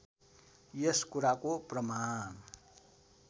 यस कुराको प्रमाण